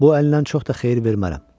Bu əlindən çox da xeyir vermərəm.